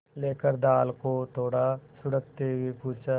लेकर दाल को थोड़ा सुड़कते हुए पूछा